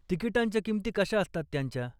तिकीटांच्या किमती कशा असतात त्यांच्या?